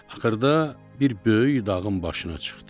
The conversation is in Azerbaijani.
Axırda bir böyük dağın başına çıxdı.